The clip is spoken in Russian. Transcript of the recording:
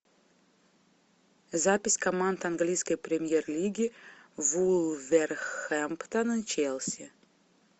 запись команд английской премьер лиги вулверхэмптон и челси